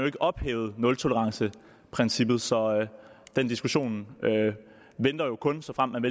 ikke ophævet nultoleranceprincippet så den diskussion venter jo kun såfremt